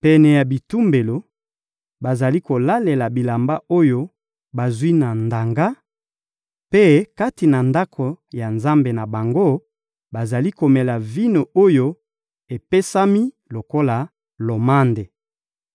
Pene ya bitumbelo, bazali kolalela bilamba oyo bazwi na ndanga; mpe kati na ndako ya nzambe na bango, bazali komela vino oyo epesami lokola lomande.